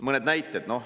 Mõned näited.